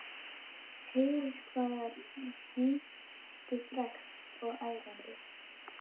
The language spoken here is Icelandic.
Heyrir hvað það er heimtufrekt og ærandi.